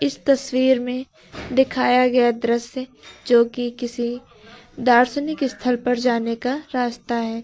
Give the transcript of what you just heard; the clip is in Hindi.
इस तस्वीर में दिखाया गया दृश्य जो कि किसी दार्शनिक स्थल पर जाने का रास्ता है।